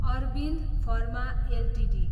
Arvind pharma Ltd